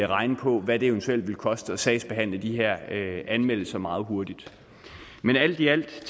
regne på hvad det eventuelt ville koste at sagsbehandle de her anmeldelser meget hurtigt men alt i alt